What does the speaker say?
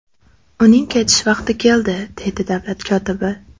Uning ketish vaqti keldi”, deydi davlat kotibi.